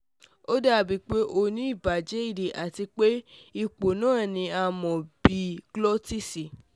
O dabi pe o ni ibajẹ ede ati pe ipo naa ni a mọ bi GLOSSITIS